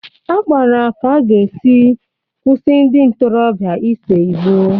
A kpara ka a ga-esi kwụsị ndị ntorobịa ise ìgbó.